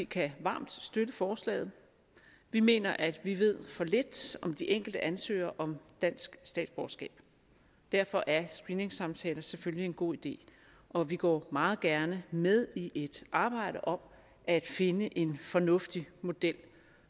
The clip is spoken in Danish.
kan varmt støtte forslaget vi mener at vi ved for lidt om de enkelte ansøgere om dansk statsborgerskab derfor er screeningssamtaler selvfølgelig en god idé og vi går meget gerne med i et arbejde om at finde en fornuftig model